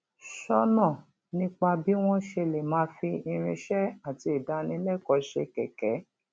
sọnà nípa bí wọn ṣe lè máa fi irinṣẹ àti ìdánilẹkọọ ṣe kẹkẹ